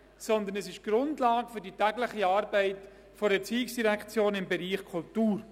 Sie bildet die Grundlage für die tägliche Arbeit der ERZ im Bereich Kultur.